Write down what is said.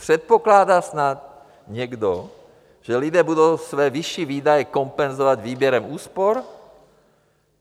Předpokládá snad někdo, že lidé budou své vyšší výdaje kompenzovat výběrem úspor?